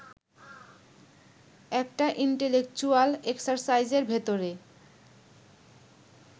একটা ইন্টেলেকচুয়াল এক্সারসাইজের ভেতরে